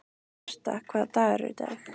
Herta, hvaða dagur er í dag?